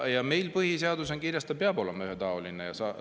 Ometi meil põhiseaduses on kirjas, et need peavad olema ühetaolised ja salajased.